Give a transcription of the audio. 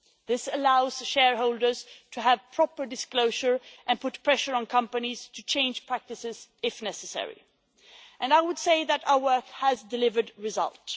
This allows shareholders to have proper disclosure and put pressure on companies to change practices if necessary, and I would say that our work has delivered results.